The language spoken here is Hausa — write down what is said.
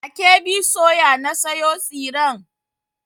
A KB soya na sayo tsiren.